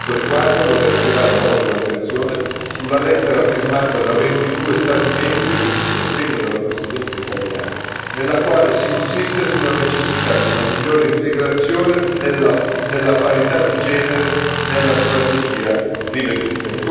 A questo riguardo, vorrei attirare la vostra attenzione sulla lettera firmata da 22 Stati membri, con il sostegno della Presidenza italiana, nella quale si insiste sulla necessità di una migliore integrazione della parità di genere nella strategia riveduta.